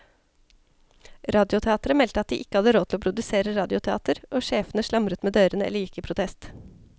Radioteateret meldte at de ikke hadde råd til å produsere radioteater, og sjefene slamret med dørene eller gikk i protest.